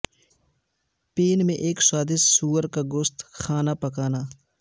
pain میں ایک سوادج سور کا گوشت گوشت کھانا پکانا